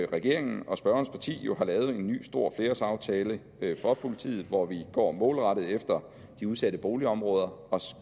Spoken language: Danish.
regeringen og spørgerens parti jo har lavet en ny stor flerårsaftale for politiet hvor vi går målrettet efter de udsatte boligområder og